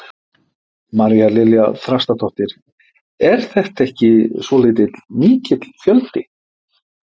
María Lilja Þrastardóttir: Er þetta ekki svolítið mikill fjöldi?